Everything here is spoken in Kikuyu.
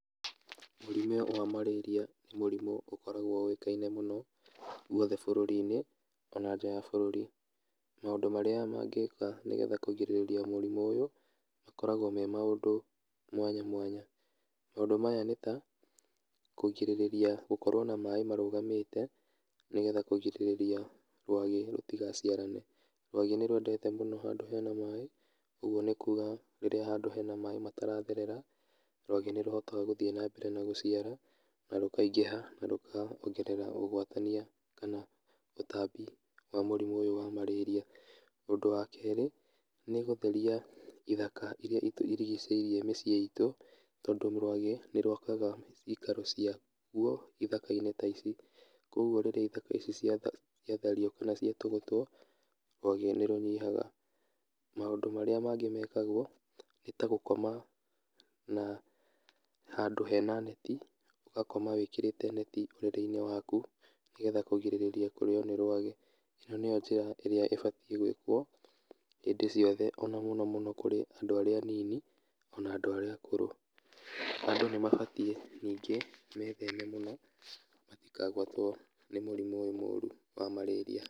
Mũrimũ wa marĩria nĩ mũrimũ ũkoragwo ũĩkaine mũno, guothe bũrũri-inĩ, ona nja ya bũrũri, maũndũ marĩa mangĩka nĩgetha kũgirĩrĩria mũrimũ ũyũ, makoragwo me maũndũ mwanya mwanya, maũndũ maya nĩta, kũgirĩrĩria gũkorwo na maĩ marũgamĩte, nĩgetha kũgirĩrĩria rwagĩ rũtigaciarane, rwagĩ nĩrwendete mũno handũ hena maĩ, ũguo nĩkuga rĩrĩa handũ hena maĩ mataratherera, rwagĩ nĩrũhotaga gũthiĩ nambere na gũciara, na rũkaingĩha, na rũkongerera ũgwatania, kana ũtambi wa mũrimũ ũyũ wa marĩria, ũndũ wa kerĩ, nĩgũtheria ithaka iria itũrigicĩirie mĩciĩ itũ, tondũ rwagĩ, nĩrwakaga cikaro ciaguo ithaka-inĩ ta ici, koguo rĩrĩa ithaka ici ciatha ciatherio kana ciatũgũteo, rwagĩ nĩrũnyihaga, maũndũ marĩa mangĩ mekagwo, nĩta gũkoma na handũ hena neti, ũgakoma wĩkĩrĩte neti ũrĩrĩ-inĩ waku, nĩgetha kũgirĩrĩria kũrĩo ní rwagĩ, ĩno nĩyo njĩra ĩrĩa ĩbatiĩ gwĩkwo hĩndĩ ciothe ona mũno mũno kũrĩ andũ arĩa anini ona andũa arĩa akũrũ, andũ nĩmabatiĩ, ningí metheme mũno, matikagwatwo nĩ mũrimũ ũyũ mũru wa marĩria.